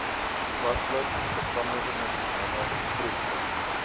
toepaslik gevangenisnommer vroegste